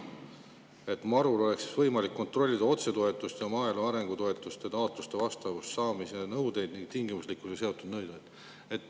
MaRu‑l oleks võimalik kontrollida otsetoetuste ja maaelu arengu toetuste taotluste vastavust nende saamise ning tingimuslikkusega seotud nõuetele.